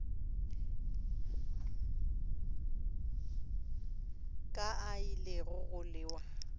ka a ile go lewa